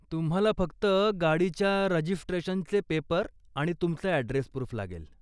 तुम्हाला फक्त गाडीच्या रजिस्ट्रेशनचे पेपर आणि तुमचं ॲड्रेस प्रूफ लागेल.